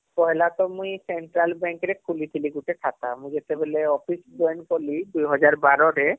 ପହିଲା ତ ମୁଇଁ central bank ରେ ଖୁଲୀଥିଲି ଗୁଟେ ଖାତା ମୁଁ ଯେତେବେଳେ office join କଲି ୨୦୧୨ ରେ